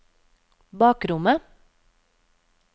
bakrommet